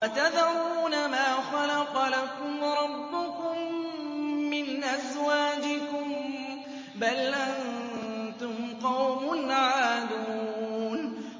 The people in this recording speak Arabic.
وَتَذَرُونَ مَا خَلَقَ لَكُمْ رَبُّكُم مِّنْ أَزْوَاجِكُم ۚ بَلْ أَنتُمْ قَوْمٌ عَادُونَ